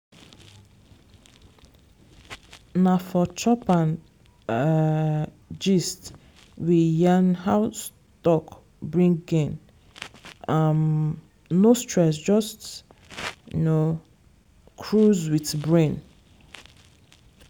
na for chop and um gist we yarn how stock bring gain um no stress just um cruise with brain.